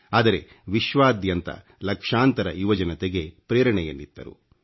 ಆದರೆ ವಿಶ್ವಾದ್ಯಂತ ಲಕ್ಷಾಂತರ ಯುವಜನತೆಗೆ ಪ್ರೇರಣೆಯನ್ನಿತ್ತರು